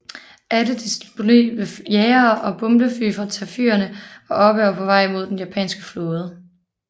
Alle disponible jagere og bombefly fra Taffyerne var oppe og på vej mod den japanske flåde